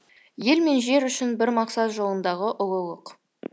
ел мен жер үшін бір мақсат жолындағы ұлылық